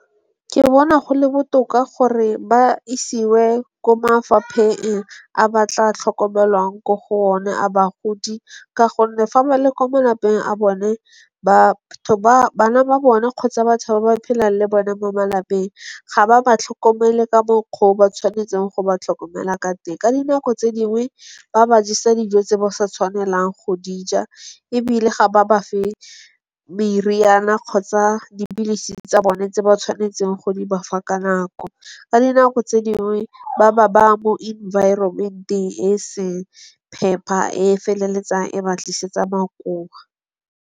Ke bona go le botoka gore ba isiwe ko mafapheng a ba tla tlhokomelwang ko go o ne a bagodi. Ka gonne fa ba le kwa malapeng a bone ba bana ba bone kgotsa batho ba ba phelang le bone mo malapeng ga ba ba tlhokomele ka mokgwa o ba tshwanetseng go ba tlhokomela ka teng. Ka dinako tse dingwe ba ba jesa dijo tse ba sa tshwanelang go di ja. Ebile ga ba bafe meriana kgotsa dipilisi tsa bone tse ba tshwanetseng go di bafa ka nako. Ka dinako tse dingwe ba ba baya mo environment-eng e seng phepa, e feleletsang e ba tlisetsa makoa.